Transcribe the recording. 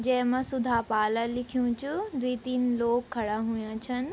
जैमा सुधा पाला लिख्युं च द्वि तीन लोग खड़ा हुयां छन ।